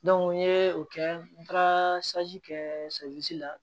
n ye o kɛ n taara kɛ la